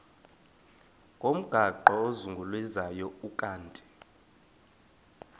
ngomgaqo ozungulezayo ukanti